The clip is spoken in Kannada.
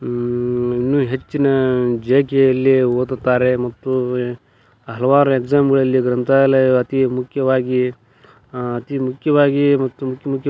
ಹಮ್ ಇನ್ನೂ ಹೆಚ್ಚಿನ ಜೆಕೆಯಲ್ಲಿ ಓದುತ್ತಾರೆ ಮಕ್ಕಳುವೇ ಹಲವಾರು ಎಕ್ಸಾಮ್ ಗಳಲ್ಲಿ ಗ್ರಂಥಾಲಯ ಅತಿ ಮುಖ್ಯವಾಗಿ ಆ ಅತಿ ಮುಖ್ಯವಾಗಿ ಮತ್ತು --